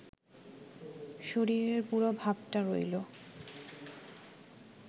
শরীরের পুরো ভাবটা রইল